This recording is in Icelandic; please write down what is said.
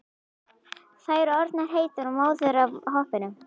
Þær orðnar heitar og móðar af hoppinu.